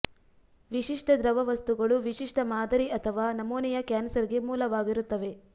ವಿಶಿಷ್ಟ ದ್ರವವಸ್ತುಗಳು ವಿಶಿಷ್ಟ ಮಾದರಿ ಅಥವಾ ನಮೂನೆಯ ಕ್ಯಾನ್ಸರ್ ಗೆ ಮೂಲವಾಗಿರುತ್ತವೆ